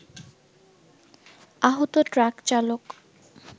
আহত ট্রাক চালক